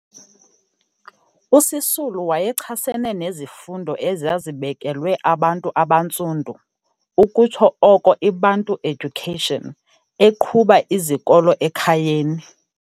USisulu wayechasene nezifundo ezazibekelwe abantu abantsundu, ukutsho oko iBantu Education, eqhuba izikolo ekhayeni.